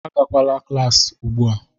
Agakwala klaasị ugbu a.